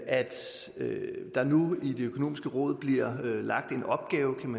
der nu i det økonomiske råd bliver lagt en opgave om